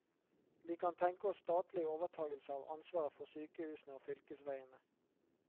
Vi kan tenke oss statlig overtagelse av ansvaret for sykehusene og fylkesveiene.